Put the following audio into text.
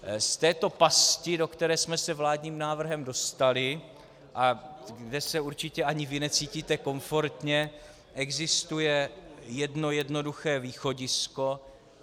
Z této pasti, do které jsme se vládním návrhem dostali a kde se určitě ani vy necítíte komfortně, existuje jedno jednoduché východisko.